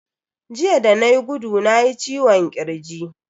Jiya da nayi gudu nayi ciwon kirji.